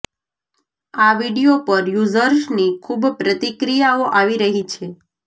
આ વિડીયો પર યુઝર્સની ખૂબ પ્રતિક્રિયાઓ આવી રહી છે